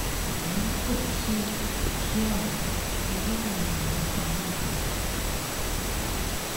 ṣùgbọn bí kò bá sí òkú kò sí ọrọ irọ làwọn èèyàn ń pa mọ àwọn